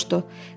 Meri soruşdu.